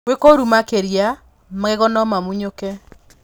Gwĩ kũru makĩria, magego nomamunyũke.